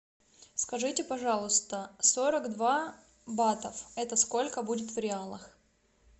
скажите пожалуйста сорок два бата это сколько будет в реалах